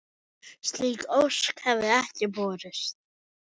Slík ósk hefði ekki borist.